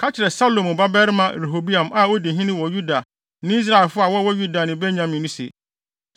“Ka kyerɛ Salomo babarima Rehoboam a odi hene wɔ Yuda ne Israelfo a wɔwɔ Yuda ne Benyamin no se,